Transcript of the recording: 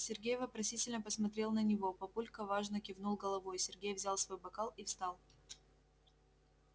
сергей вопросительно посмотрел на него папулька важно кивнул головой сергей взял свой бокал и встал